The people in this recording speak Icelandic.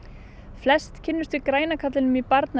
flestir kynnast græna kallinum